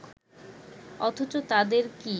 অথচ তাদের কি